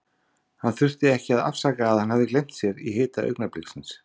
Hann þurfti ekki að afsaka að hann hafði gleymt sér í hita augnabliksins.